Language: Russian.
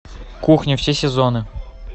кухня все сезоны